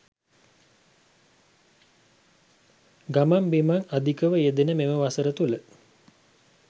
ගමන් බිමන් අධිකව යෙදෙන මෙම වසර තුළ